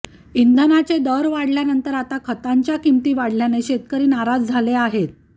इंधनाचे दर वाढल्यानंतर आता खतांची किंमती वाढल्याने शेतकरी नाराज झाले आहेत